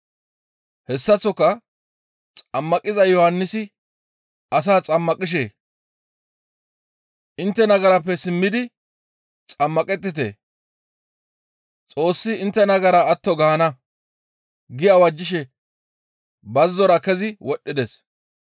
Hessaththoka Xammaqiza Yohannisi asaa xammaqishe, «Intte nagarappe simmidi xammaqettite, Xoossi intte nagara atto gaana» gi awajjishe bazzora kezi wodhdhides.